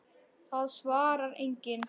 Það svarar enginn